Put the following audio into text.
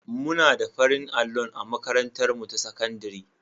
Muna da farin allon a makatantarmu ta sakandare.